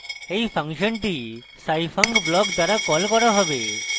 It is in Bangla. এই ফাংশনটি scifunc block দ্বারা কল করা হবে